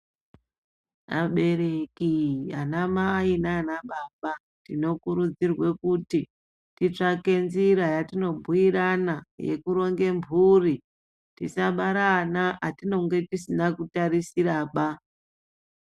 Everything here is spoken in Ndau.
Abereki anamai nanababa tinokurudzirwe kuti titsvake nzira yatinobhuirana yekuronge mburi tisabare ana atinenge tisina kutarisira ba.